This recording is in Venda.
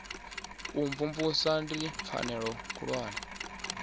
u imvumvusa ndi pfanelo khulwane